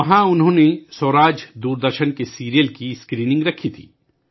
وہاں انہوں نے دوردرشن سیریل 'سوراج' کی اسکریننگ رکھی تھی